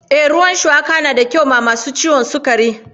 Ee, ruwan shuwaka na da kyau ga masu ciwon sukari.